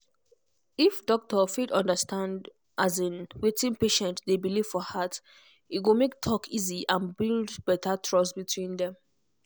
if doctor fit understand um wetin patient dey believe for heart e go make talk easy and build better trust between dem.